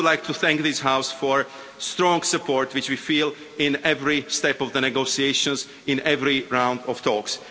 I really would like to thank this House for the strong support which we feel in every step of the negotiations and in every round of talks.